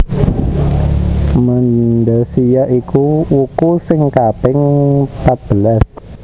Mandasiya iku wuku sing kaping patbelas